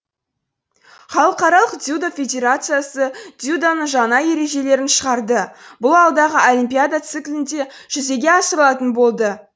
халықаралық дзюдо федерациясы дзюдоның жаңа ережелерін шығарды бұл алдағы олимпиада циклінде жүзеге асырылатын болады